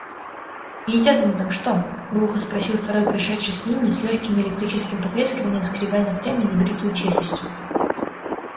едят они там что глухо спросил второй пришедший с ними с лёгким электрическим потрескиванием скребя ногтями небритую челюсть